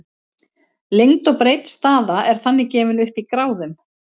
lengd og breidd staða er þannig gefin upp í gráðum